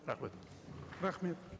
рахмет рахмет